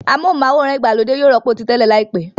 Amóhùnm'áwòrán ìgbàlódé yóò rọ́pò ti tẹ́lẹ̀ láìpẹ́